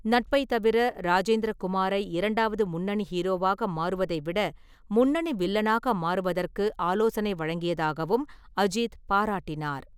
நட்பைத் தவிர, ராஜேந்திர குமாரை இரண்டாவது முன்னணி ஹீரோவாக மாறுவதை விட "முன்னணி வில்லனாக" மாறுவதற்கு ஆலோசனை வழங்கியதாகவும் அஜித் பாராட்டினார்.